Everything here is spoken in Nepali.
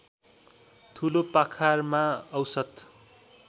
ठुलोपाखारमा औसत